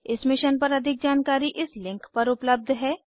इस मिशन पर अधिक जानकारी इस लिंक पर उपलब्ध है